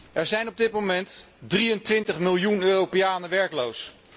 Er zijn op dit moment 23 miljoen Europeanen werkloos.